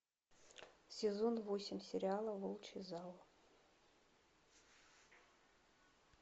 сезон восемь сериала волчий зал